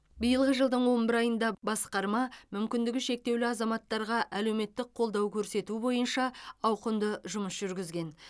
биылғы жылдың он бір айында басқарма мүмкіндігі шектеулі азаматтарға әлеуметтік қолдау көрсету бойынша ауқымды жұмыс жүргізген